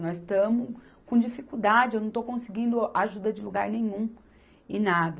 Nós estamos com dificuldade, eu não estou conseguindo ajuda de lugar nenhum e nada.